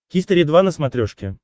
хистори два на смотрешке